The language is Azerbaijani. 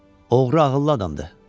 Oğru ağıllı adamdır.